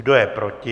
Kdo je proti?